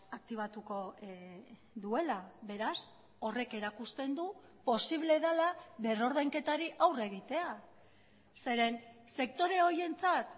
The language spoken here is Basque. aktibatuko duela beraz horrek erakusten du posible dela berrordainketari aurre egitea zeren sektore horientzat